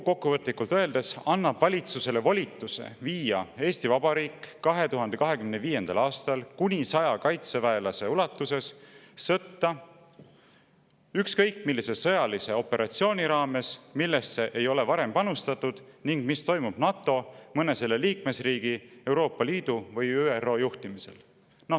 Kokkuvõtlikult öeldes, sellega annab Riigikogu valitsusele volituse viia Eesti Vabariik 2025. aastal kuni 100 kaitseväelasega sõtta ükskõik millise sõjalise operatsiooni raames, millesse ei ole varem panustatud ning mis toimub NATO, mõne selle liikmesriigi, Euroopa Liidu või ÜRO juhtimisel.